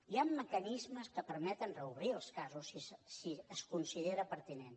hi han mecanismes que permeten reobrir els casos si es considera pertinent